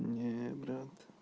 не брат